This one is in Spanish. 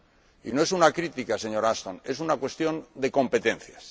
Y no es una crítica, señora Ashton, es una cuestión de competencias.